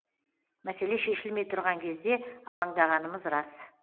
мәселе шешілмей тұрған кезде алаңдағанымыз рас